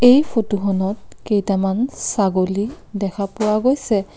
এই ফটোখনত কেইটামান ছাগলী দেখা পোৱা গৈছে।